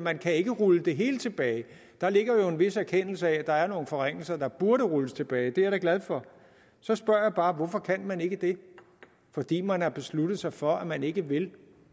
man kan ikke rulle det hele tilbage der ligger jo en vis erkendelse i at der er nogle forringelser der burde rulles tilbage det er jeg da glad for så spørger jeg bare hvorfor kan man ikke det fordi man har besluttet sig for at man ikke vil